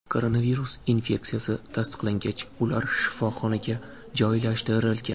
Koronavirus infeksiyasi tasdiqlangach, ular shifoxonaga joylashtirilgan.